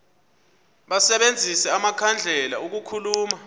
basebenzise amakhandlela ukukhulula